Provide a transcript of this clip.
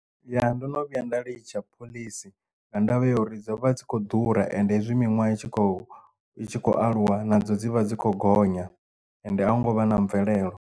Ya ndo no vhuya nda litsha phoḽisi nga ndavha ya uri dzo vha dzi kho ḓura ende hezwi miṅwaha i tshi khou i tshi khou aluwa nadzo dzi vha dzi khou gonya ende a hu ngo vha na mvelelo.